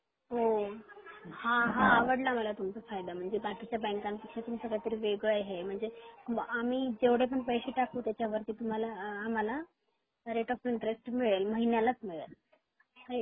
हा आवडला माल तुमचा फायदा म्हणजे बाकीच्या बँका पेक्षा तुमच काहीतरी वेगळ हे आहे म्हणजे आम्ही जेवढे पण पैसे टाकू त्यच्या वरती तुम्हाला आम्हाला रेट ऑफ इंटरेस्ट मिळेल महिन्यालाच मिळेल राईट